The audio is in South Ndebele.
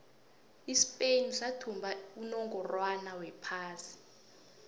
ispain sathumba unongorwond wephasi